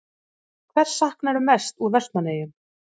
Hvers saknarðu mest úr Vestmannaeyjum?